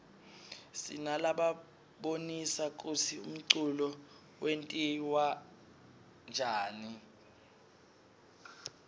sinalabonisa kutsi umculo wentiwaryani